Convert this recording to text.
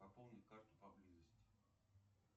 пополнить карту поблизости